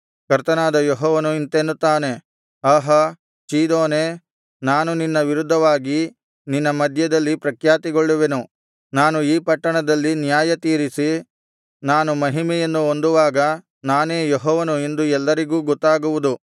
ಕರ್ತನಾದ ಯೆಹೋವನು ಇಂತೆನ್ನುತ್ತಾನೆ ಆಹಾ ಚೀದೋನೇ ನಾನು ನಿನ್ನ ವಿರುದ್ಧವಾಗಿ ನಿನ್ನ ಮಧ್ಯದಲ್ಲಿ ಪ್ರಖ್ಯಾತಿಗೊಳ್ಳುವೆನು ನಾನು ಈ ಪಟ್ಟಣದಲ್ಲಿ ನ್ಯಾಯ ತೀರಿಸಿ ನಾನು ಮಹಿಮೆಯನ್ನು ಹೊಂದುವಾಗ ನಾನೇ ಯೆಹೋವನು ಎಂದು ಎಲ್ಲರಿಗೂ ಗೊತ್ತಾಗುವುದು